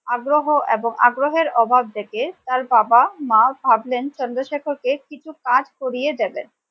আগ্রহ এবং আগ্রহের অভাব দেখে তার বাবা মা ভাবলেন চন্দ্রশেখর কে কিছু কাজ করিয়ে দেবেন ।